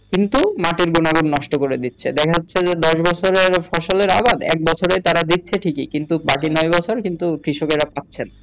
কিন্তু মাটির গুনা গুন নষ্ট করে দিচ্ছে যা হচ্ছে দশ বছরের ফসলের আবাদ এক বছরে তারা দিচ্ছে ঠিকি কিন্তু বাকি নয় বছর কৃষকেরা পাচ্ছে না